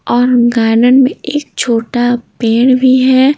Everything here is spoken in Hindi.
और गार्डन में एक छोटा पेड़ भी है।